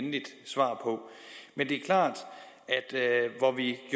endeligt svar på men det er klart